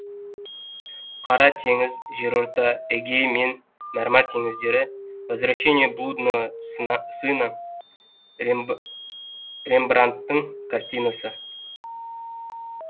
қара теңіз жерорта эгей мен мәрмәр теңіздері возвращение блудного сына рембрандтың картинасы